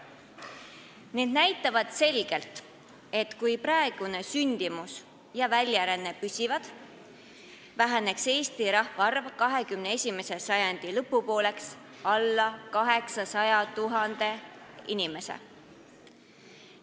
Need näitavad selgelt, et kui sündimus ja väljaränne püsivad praegusel tasemel, väheneb Eesti rahvaarv 21. sajandi lõpupooleks alla 800 000 inimese.